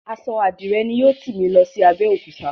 Aṣọ Àdirẹ ni yóò tì mí lọ sí Abẹ́òkúta.